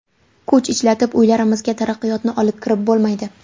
Kuch ishlatib uylarimizga taraqqiyotni olib kirib bo‘lmaydi.